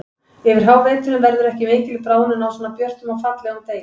Yfir háveturinn verður ekki mikil bráðnun á svona björtum og fallegum degi.